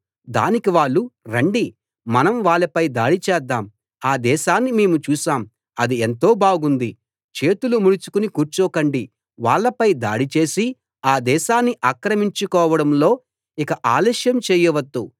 దానికి వాళ్ళు రండి మనం వాళ్ళపై దాడి చేద్దాం ఆ దేశాన్ని మేము చూశాం అది ఎంతో బాగుంది చేతులు ముడుచుకుని కూర్చోకండి వాళ్ళపై దాడి చేసి ఆ దేశాన్ని ఆక్రమించుకోవడంలో ఇక ఆలస్యం చేయవద్దు